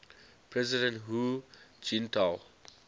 president hu jintao